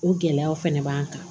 O gɛlɛyaw fɛnɛ b'an kan